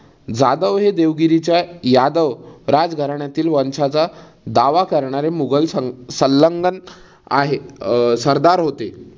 जाधव हे देवगिरीच्या यादव राजघराण्यातील वंशाचा दावा करणारे मुघल सल सल्लघन्न आहे. अह सरदार होते.